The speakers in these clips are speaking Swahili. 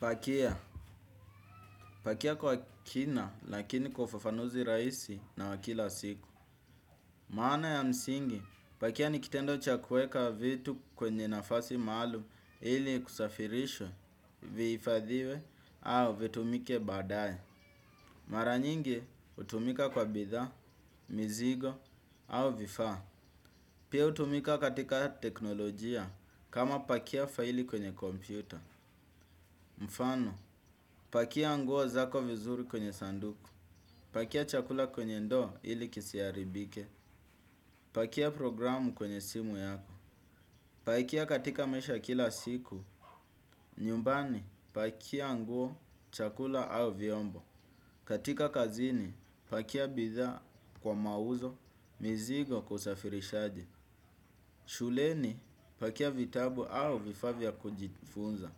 Pakia, pakia kwa kina lakini kwa ufufanuzi raisi na wa kila siku. Maana ya msingi, pakia nikitendo cha kueka vitu kwenye nafasi maalum ili kusafirisha, viifadhiwe au vitumike badaye. Mara nyingi utumika kwa bithaa, mizigo au vifaa. Pia utumika katika teknolojia kama pakia faili kwenye kompyuta. Mfano, pakia nguo zako vizuri kwenye sanduku. Pakia chakula kwenye ndo ili kisiaribike. Pakia programu kwenye simu yako. Pakia katika mesha kila siku. Nyumbani pakia nguo chakula au vyombo. Katika kazini pakia bidhaa kwa mauzo. Mizigo kwa usafirishaji. Shuleni pakia vitabu au vifaa vya kujifunza.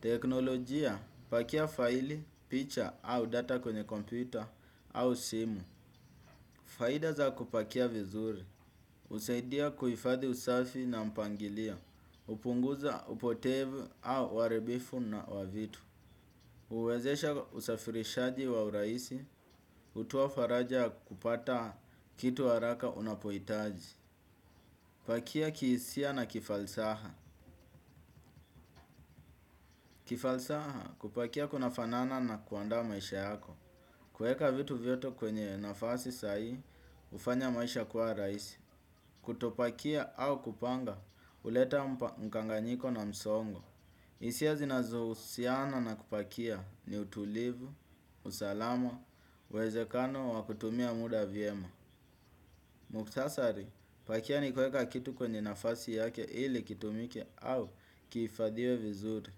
Teknolojia pakia faili, picha au data kwenye kompyuta au simu. Faida za kupakia vizuri, usaidia kuifadhi usafi na mpangilia, upunguza upotevu au waaribifu na wa vitu. Uwezesha usafirishaji wa uraisi, utoa faraja ya kupata kitu araka unapoitaji. Pakia kiisia na kifalsaha. Kifalsaha kupakia kuna fanana na kuandaa maisha yako. Kueka vitu vyoto kwenye nafasi sahii, ufanya maisha kuwa raisi. Kutopakia au kupanga, uleta mkanganyiko na msongo. Isia zinazohusiana na kupakia ni utulivu, usalama, wezekano wa kutumia muda vyema. Muktasari, pakia ni kueka kitu kwenye nafasi yake ili kitumike au kiifadhiwe vizuri.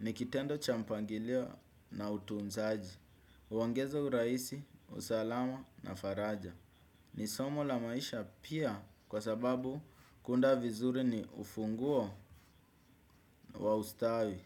Nikitendo cha mpangilio na utunzaji. Uongeza uraisi, usalama na faraja. Ni somo la maisha pia kwa sababu kunda vizuri ni ufunguo wa ustawi.